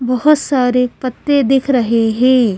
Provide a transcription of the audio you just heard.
बहोत सारे पत्ते दिख रहे हैं।